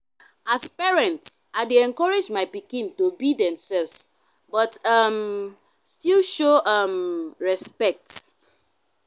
as parent i dey encourage my pikin to be themselves but um still show um respect.